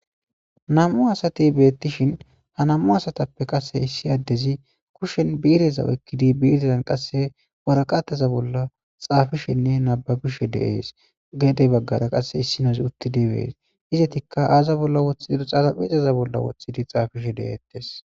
nam7u asati beettishin ha nam7u asatappe qase issi addezi kushen biireza wekkidi biirezan qasse waraqataza bolla xaafishenne nababishe deees gedey baggara qasse issinozi uttidi bees izatikka aaza bolla wothidir xalaphizaza bolla wothidi xaafishe de7eettes